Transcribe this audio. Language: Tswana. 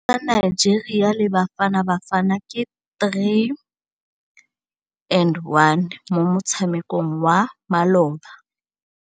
Sekôrô sa Nigeria le Bafanabafana ke 3-1 mo motshamekong wa malôba.